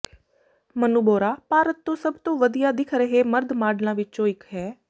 ਮਨੂੰ ਬੋਰਾ ਭਾਰਤ ਤੋਂ ਸਭ ਤੋਂ ਵਧੀਆ ਦਿਖ ਰਹੇ ਮਰਦ ਮਾਡਲਾਂ ਵਿਚੋਂ ਇਕ ਹੈ